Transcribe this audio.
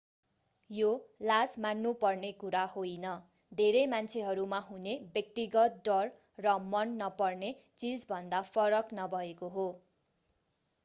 यो लाज मान्नु पर्ने कुरा होइन धेरै मान्छेहरूमा हुने व्यक्तिगत डर र मन नपर्ने चीजभन्दा फरक नभएको हो